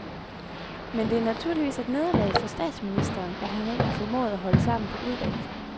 Men det er naturligvis et nederlag for statsministeren, at han ikke har formået at holde sammen på udvalget.